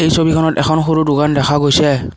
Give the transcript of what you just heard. এই ছবিখনত এখন সৰু দোকান দেখা গৈছে।